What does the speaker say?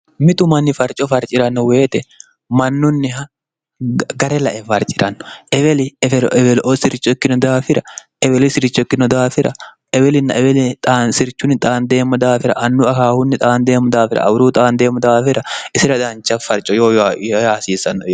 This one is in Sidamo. mitu manni farco farci'ranno weyite mannunniha gare lae farci'ranno eweli eferoewelioo siricho ikkino daafira eweli siricho ikkino daafira ewelinna eweli xaansirchunni xaandeemmo daafira annu akaahunni xaandeemmo daafira awuruu xaandeemmo daafira isira dancha farco yoo yahasiissanno